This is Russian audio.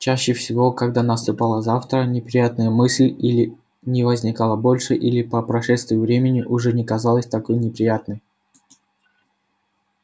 и чаще всего когда наступало завтра неприятная мысль или не возникала больше или по прошествии времени уже не казалась такой неприятной